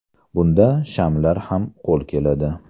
Bunda shamlar ham qo‘l keladi.